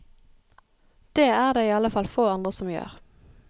Det er det iallfall få andre som gjør.